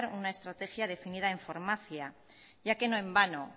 una estrategia definida en farmacia ya que no en vano